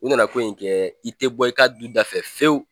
U nana ko in kɛ i tɛ bɔ i ka du dafɛ fɛwu